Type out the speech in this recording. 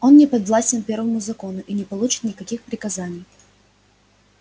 он не подвластен первому закону и не получит никаких приказаний